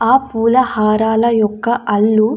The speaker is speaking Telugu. ఆ పులా హారాల యొక్క అల్లు --